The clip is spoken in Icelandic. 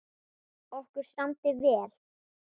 Okkur samdi vel.